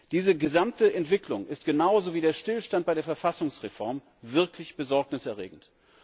Diese gesamte Entwicklung ist genauso wie der Stillstand bei der Verfassungsreform wirklich besorgniserregend.